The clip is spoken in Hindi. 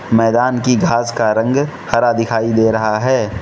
मैदान की घास का रंग हरा दिखाई दे रहा है।